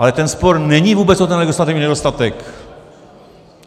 Ale ten spor není vůbec o ten legislativní nedostatek.